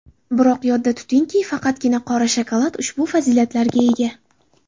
Biroq, yodda tutingki, faqatgina qora shokolad ushbu fazilatlarga ega.